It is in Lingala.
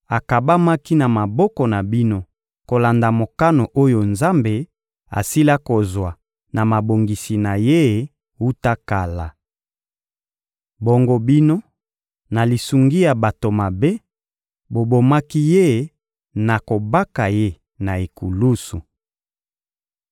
akabamaki na maboko na bino kolanda mokano oyo Nzambe asila kozwa na mabongisi na Ye wuta kala. Bongo bino, na lisungi ya bato mabe, bobomaki Ye na kobaka Ye na ekulusu.